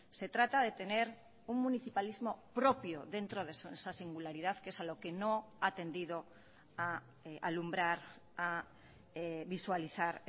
se trata de tener un municipalismo propio dentro de esa singularidad que es a lo que no ha atendido a alumbrar a visualizar